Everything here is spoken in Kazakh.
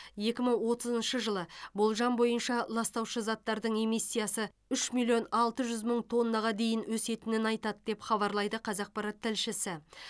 екі мың отызыншы жылы болжам бойынша ластаушы заттардың эмиссиясы үш миллион алты жүз мың тоннаға дейін өсетінін айтады деп хабарлайды қазақпарат тілшісі